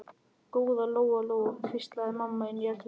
Góða Lóa Lóa, hvíslaði mamma inni í eldhúsi.